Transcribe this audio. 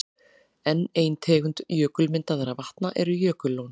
Enn ein tegund jökulmyndaðra vatna eru jökullón.